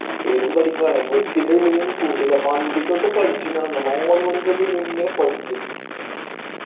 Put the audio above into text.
ഇരുന്നു പഠിപ്പാണ് book മുമ്പിന്ന് പോകില്ല പഠിച്ചനാണോ നാലുമണിക്കൊക്കെ ഇരുന്നു ഇങ്ങനെ പഠിക്കും